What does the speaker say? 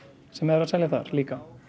sem er að seljast þar líka